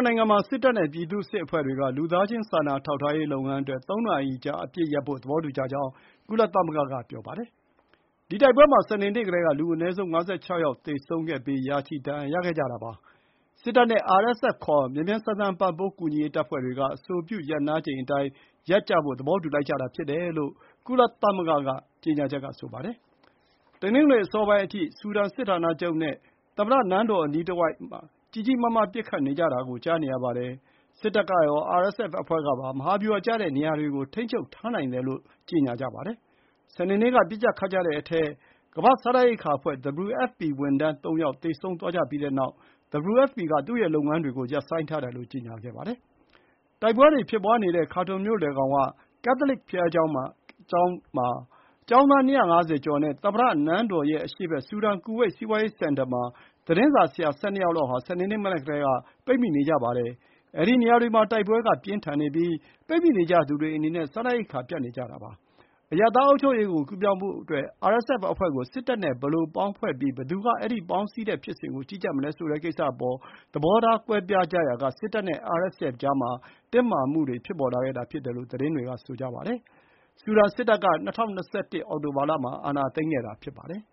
နိုင်ငံမှာ စစ်တပ်နဲ့ပြည်သူ့စစ်အဖွဲ့တွေက လူသားချင်းစာနာထောက် ထားရေးလုပ်ငန်းအတွက် သုံးနာရီကြာအပစ်ရပ်ဖို့ သဘောတူကြကြောင်း ကုလသမဂ္ဂက ပြောပါတယ်။ စစ်တပ်အချင်းချင်းတိုက်ကြတဲ့ ဒီ တိုက်ပွဲမှာ စနေနေ့ကတည်းက လူအနည်းဆုံး ၅၆ ယောက် သေဆုံးခဲ့ပြီး ရာချီဒဏ်ရာရခဲ့ကြပါတယ်။ စစ်တပ်နဲ့ RSF ခေါ် မြန်မြန်ဆန်ဆန် ပံ့ပိုးကူညီရေးတပ်ဖွဲ့တွေက အဆိုပြု ရပ်နားချိန်အတိုင်းရပ်ကြဖို့ သဘောတူလိုက်ကြတာဖြစ်တယ်လို့ ကုလသမဂ္ဂ ကြေညာချက်က ဆိုပါတယ်။ တနင်္ဂနွေနေ့ အစောပိုင်းအထိ ဆူဒန်စစ်ဌာနချုပ်နဲ့ သမ္မတနန်းတော်အနီးတဝိုက်မှာ ကြီးကြီးမားမားပစ်ခတ်နေကြတာကို ကြားနေရပါတယ်။ စစ်တပ်ကရော RSFအဖွဲ့ကပါ မဟာဗျူဟာကျတဲ့နေရာတွေကို ထိန်းချုပ်ထားနိုင်တယ်လို့ ပြောကြပါတယ်။ စနေနေ့က ပစ်ကြခတ်ကြတဲ့အထဲ ကမ္ဘာ့စားနပ်ရိက္ခာအဖွဲ့ WFP ဝန်ထမ်းသုံးယောက် သေဆုံးသွားကြပြီးတဲ့နောက် WFP က သူ့ရဲ့လုပ်ငန်းတွေကို ရပ်ဆိုင်းထားတယ်လို့ ကြေညာခဲ့ပါတယ်။ တိုက်ပွဲတွေဖြစ်ပွါးနေတဲ့ ခါတွန်မြို့လယ်ခေါင်က ကက်သိုလစ်ကျောင်းမှာ ကျောင်းသား ၂၅၀ ကျော်နဲ့ သမ္မတနန်းတော်ရဲ့အရှေ့ဘက် ဆူဒန် ကူဝိတ် စီးပွါးရေးစင်တာမှာ သတင်းစာဆရာ ၁၂ ယောက်လောက်ဟာ စနေနေ့ မနက်ကတည်းက ပိတ်မိနေကြပါတယ်။ အဲဒီနေရာတွေမှာ တိုက်ပွဲ အပြင်းအထန်ဖြစ်နေပြီး ပိတ်မိနေကြသူတွေအနေနဲ့ စားနပ်ရိက္ခာ ပြတ်နေကြပါတယ်။ အရပ်သား အုပ်ချုပ်ရေးကို ကူးပြောင်းဖို့အတွက် RSFအဖွဲ့ကို စစ်တပ်နဲ့ဘယ်လိုပေါင်းဖွဲ့ပြီး ဘယ်သူက အဲဒီလို ပေါင်းစည်းတဲ့ဖြစ်စဉ်ကို ကြီးကြပ်မလဲဆိုတဲ့ကိစ္စအပေါ် သဘောထား ကွဲပြားကြရာက စစ်တပ်နဲ့ RSF ကြားမှာ တင်းမာမှုတွေ ဖြစ်ပေါ်လာခဲ့တာဖြစ်တယ်လို့ သတင်းတွေက ဆိုကြပါတယ်။ စစ်တပ်က ၂၀၂၁ အောက်တိုဘာလမှာ အာဏာသိမ်းခဲ့တာ ဖြစ်ပါတယ်။